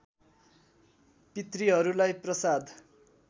पितृहरूलाई प्रसाद